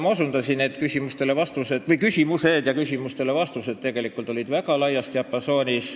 Ma osutasin sellele, et küsimuste ja vastuste diapasoon oli väga lai.